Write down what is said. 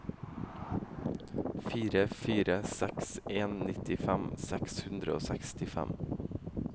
fire fire seks en nittifem seks hundre og sekstifem